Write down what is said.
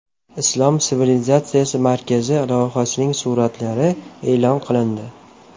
Islom sivilizatsiyasi markazi loyihasining suratlari e’lon qilindi .